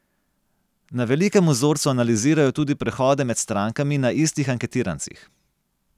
Na velikem vzorcu analizirajo tudi prehode med strankami na istih anketirancih.